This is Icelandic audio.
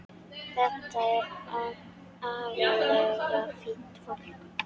Þetta er agalega fínt fólk.